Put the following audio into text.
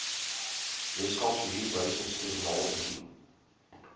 weskaapse huurbehuisingstribunaal indien